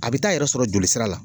A bi taa yɛrɛ sɔrɔ jolisira la